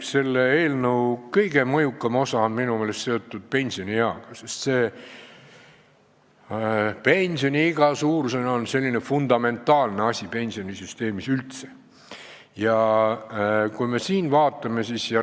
Selle eelnõu kõige mõjukam osa on minu meelest seotud pensionieaga, sest pensionile mineku iga on pensionisüsteemis fundamentaalse tähtsusega.